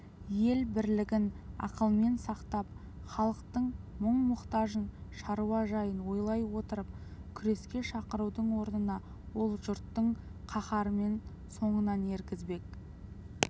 ел бірлігін ақылмен сақтап халықтың мұң-мұқтажын шаруа жайын ойлай отырып күреске шақырудың орнына ол жұртты қаһарымен соңынан ергізбек